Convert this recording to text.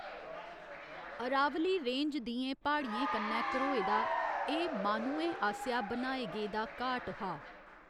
Aravalli range दियें प्हाड़ियें कन्नै घरोए दा एह्‌‌ माह्‌नुएं आसेआ बनाए गेदा घाट हा।